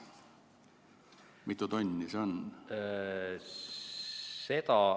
Mitu tonni see on?